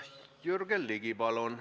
Jürgen Ligi, palun!